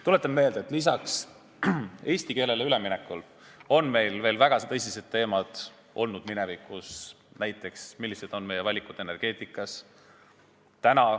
Tuletan meelde, et lisaks eesti keelele üleminekule on meil veel väga tõsised teemad olnud minevikus, näiteks, millised on meie valikud energeetikas.